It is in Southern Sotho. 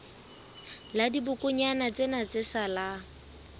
la dibokonyana tsena tse salang